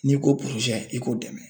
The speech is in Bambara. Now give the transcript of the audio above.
N'i ko porozɛ i k'o dɛmɛ